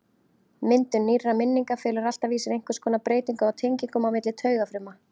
Myndun nýrra minninga felur alltaf í sér einhvers konar breytingu á tengingum á milli taugafruma.